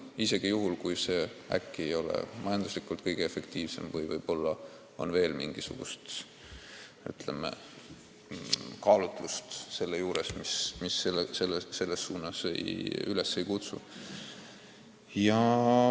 Mis sellest, kui see äkki ei ole majanduslikult kõige efektiivsem või on mängus veel mingisuguseid kaalutlusi, mis kokku leppima ei kutsu.